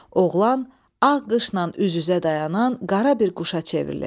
Oğlan ağ qışla üz-üzə dayanan qara bir quşa çevrilir.